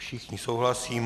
Všichni souhlasí.